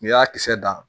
N'i y'a kisɛ dan